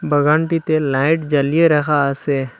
বাগানটিতে light জ্বালিয়ে রাখা আসে।